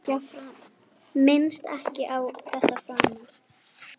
Minnist ekki á þetta framar.